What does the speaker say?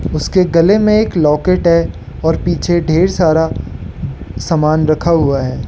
उसके गले में एक लॉकेट है और पीछे ढेर सारा सामान रखा हुआ है।